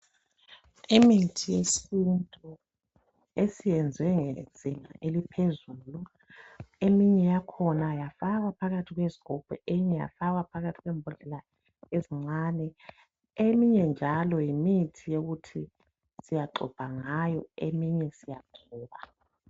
imithi yesintu esiyenzwe ngezinga eliphezulu eminye yakhona yafakwa phakathi kwezigubhu eminye yafakwa phakathi kwembodlela ezincane eminye njalo yimithi yokuthi siyaxubha ngayo eminye siyagcoba